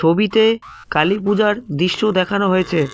ছবিতে কালীপূজার দৃশ্য দেখানো হয়েছে।